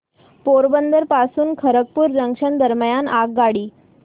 पोरबंदर पासून खरगपूर जंक्शन दरम्यान आगगाडी